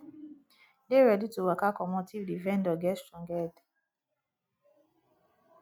dey ready to waka comot if di vendor get strong head